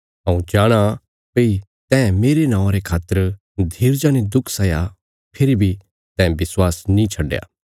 हऊँ जाणाँ भई तैं मेरे नौआं रे खातर धीरजा ने दुख सैया फेरी बी तैं विश्वास नीं छड्डया